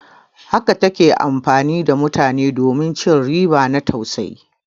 Haka ta ke amfani da mutane domin ci riba na tausayi.